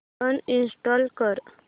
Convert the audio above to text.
uninstall कर